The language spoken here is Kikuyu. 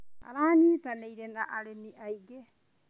Aranyitanĩire na arĩmi aingĩ.